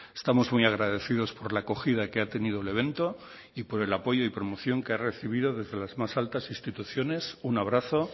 estamos muy agradecidos por la acogida que ha tenido el evento y por el apoyo y promoción que ha recibido desde las más altas instituciones un abrazo